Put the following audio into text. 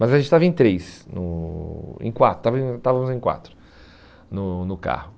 Mas a gente estava em três, no em quatro, estávamos em estávamos em quatro no no carro.